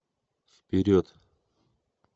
вперед